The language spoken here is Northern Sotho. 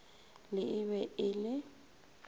le e be e le